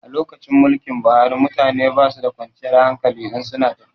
A lokacin mulkin Buhari mutane basu da kwanciyar hankali in su na tafiya